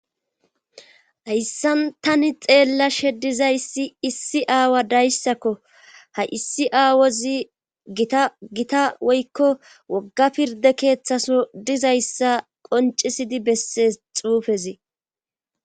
hayssan tani xeella she dizayssi issi aawa dayssakko ha issi aawozi gita gita woykko wogga pirde keeththaso dizayssa qoncisidi besse xuufezi